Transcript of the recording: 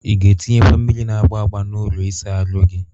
Ị ga-etinyekwa mmiri na-agba agba n'ụlọ ịsa ahụ gị?